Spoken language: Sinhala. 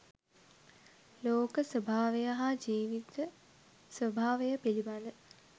ලෝක ස්වභාවය හා ජීවිත ස්වභාවය පිළිබඳ